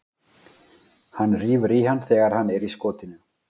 Hann rífur í hann þegar hann er í skotinu.